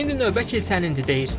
İndi növbə kilsənindir.